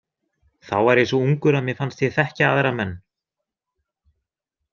Þá var ég svo ungur að mér fannst ég þekkja aðra menn.